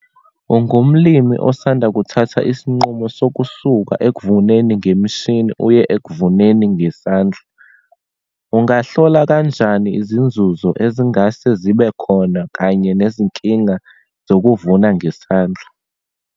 Ungumlimi osanda kuthatha isinqumo sokusuka ekuvuneni ngemishini, uye ekuvuneni ngesandla. Ungahlola kanjani izinzuzo ezingase zibe khona kanye nezinkinga zokuvuna ngesandla?